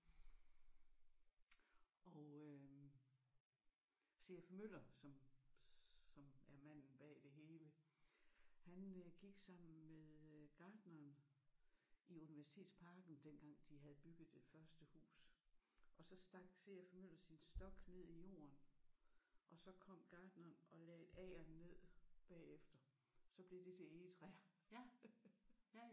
Og øh C F Møller som som er manden bag det hele han øh gik sammen med øh gartneren i Universitetsparken dengang de havde bygget det første hus og så stak C F Møller sin stok ned i jorden og så kom gartneren og lagde agern ned bagefter. Så blev det til egetræer